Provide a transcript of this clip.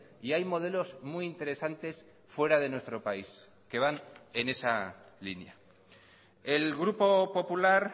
y hay modelos muy interesantes fuera de nuestro país que van en esa línea el grupo popular